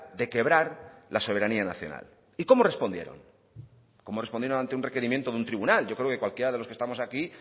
de quebrar la soberanía nacional y cómo respondieron cómo respondieron ante un requerimiento de un tribunal yo creo que cualquiera de los que estamos aquí